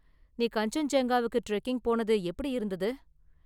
நீ கன்சென்ஜுங்காவுக்கு ட்ரெக்கிங் போனது எப்படி இருந்தது?